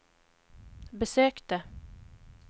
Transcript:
besökte